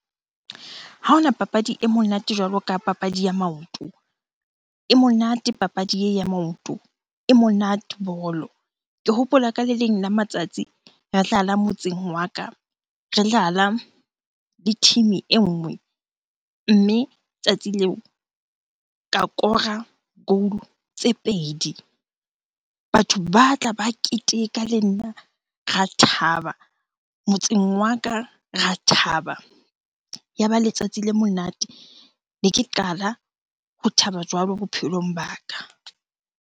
Ha hona papadi e monate jwalo ka papadi ya maoto. E monate papadi ya maoto, e monate ball-o. Ke hopola ka le leng la matsatsi re dlala motseng wa ka, re dlala le team-e e nngwe. Mme tsatsi leo, ka kora goal tse pedi. Batho ba tla, ba keteka le nna. Ra thaba motseng wa ka, ra thaba, ya ba letsatsi le monate. Ne ke qala ho thaba jwalo bophelong ba ka.